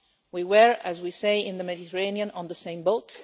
We were, as we say in the Mediterranean, on the same boat.